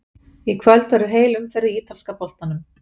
Í kvöld verður heil umferð í ítalska boltanum.